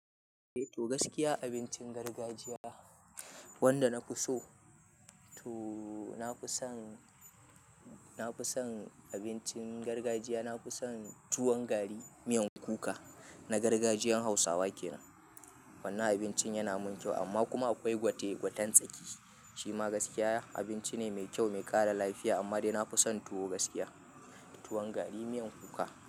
To gaskiya abincin gargajiya wanda na fi so to na fi son, na fi son abincin gargajiya. Na fi son tuwon gari, miyan kuka na gargajiyan Hausawa kenan. Wannan abincin yana mun kyau amma kuma akwai gwate-gwaten tsaki. Shi ma gaskiya abinci ne mai kyau, mai ƙara lafiya amma dai na fi son tuwo gaskiya, tuwon gari miyan kuka.